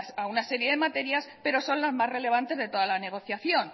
a una serie de materias pero son las más relevantes de toda la negociación